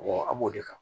a b'o de kɛ